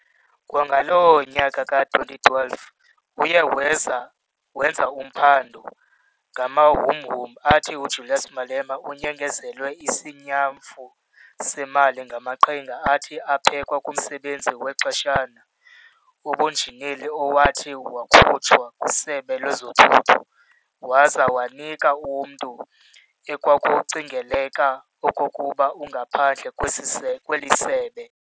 Kwangaloo nyaka ka-2012, uye wenza uphando ngamahumhum athi uJulius Malema unyengezelwe isinyamfu semali ngamaqhinga athi aphekwa kumsebenzi wexeshana webunjineli owathi wakhutshwa kwisebe lezothutho, waza wanikwa umnntu ekwakucingeleka okokuba ungaphandle kwezi se kweli sebe.